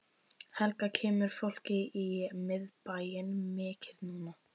Helga: Kemur fólki í miðbæinn mikið núna?